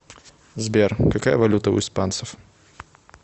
сбер какая валюта у испанцев